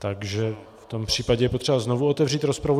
Takže v tom případě je potřeba znovu otevřít rozpravu.